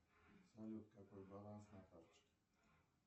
салют какой баланс на карточке